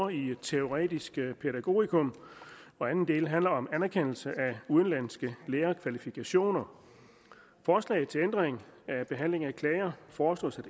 i teoretisk pædagogikum og anden del handler om anerkendelse af udenlandske lærerkvalifikationer forslaget til ændring af behandling af klager foreslås at